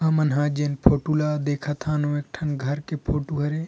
हमन ह जेन फोटु ला देखत हन ओ एक ठन घर के फोटु हरे।